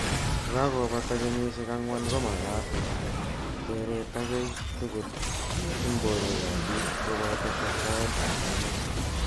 Ko kakopata kenyishek angwan ko matak teret akei tugul ing porwek ap pik kopoto testaet ap emet.